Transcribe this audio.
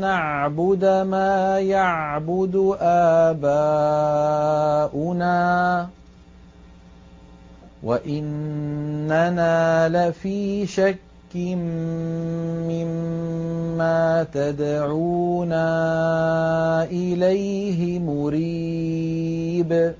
نَّعْبُدَ مَا يَعْبُدُ آبَاؤُنَا وَإِنَّنَا لَفِي شَكٍّ مِّمَّا تَدْعُونَا إِلَيْهِ مُرِيبٍ